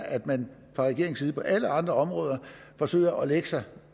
at man fra regeringens side på alle andre områder forsøger at lægge sig